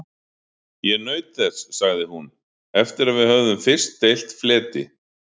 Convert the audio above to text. Ég naut þess sagði hún, eftir að við höfðum fyrst deilt fleti.